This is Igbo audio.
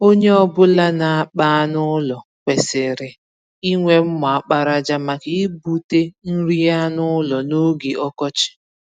Onye ọ bụla na-akpa anụ ụlọ kwesịrị inwe mma àkpàràjà, maka igbute nri anụ ụlọ n'oge ọkọchị.